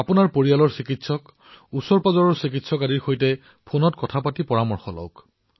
আপোনাৰ পাৰিবাৰিক চিকিৎসক ওচৰৰ চিকিৎসকৰ সৈতে ফোনযোগে যোগাযোগ কৰক আৰু তেওঁলোকৰ পৰামৰ্শ লওক